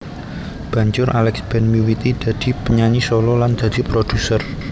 Banjur Alex Band miwiti dadi penyanyi solo lan dadi produser